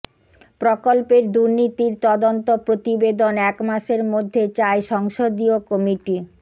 প্রকল্পের দুর্নীতির তদন্ত প্রতিবেদন এক মাসের মধ্যে চায় সংসদীয় কমিটি